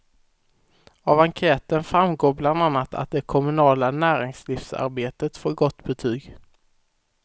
Av enkäten framgår bland annat att det kommunala näringslivsarbetet får gott betyg.